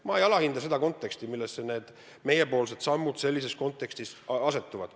Ma ei alahinda seda konteksti, millesse meiepoolsed sammud selles kontekstis asetuvad.